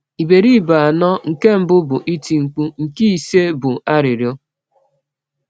Iberibe anọ nke mbụ bụ iti-nkpu; nke ise bụ arịrịọ.